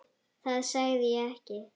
Það sagði ég ekki